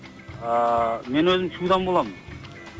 ааа мен өзім шудан боламын